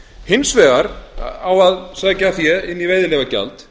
hins vegar á að sækja fé inn í veiðileyfagjald